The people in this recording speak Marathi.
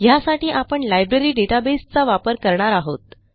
ह्यासाठी आपण लायब्ररी डेटाबेस चा वापर करणार आहोत